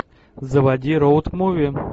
заводи роуд муви